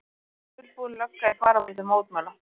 Dulbúin lögga í fararbroddi mótmæla